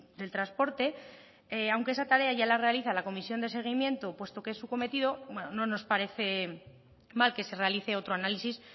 del transporte aunque esa tarea ya la realiza la comisión de seguimiento puesto que es su cometido no nos parece mal que se realice otro análisis